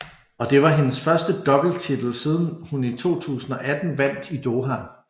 Og det var hendes første doubletitel siden hun i 2018 vandt i Doha